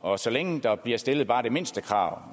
og så længe der bliver stillet bare det mindste krav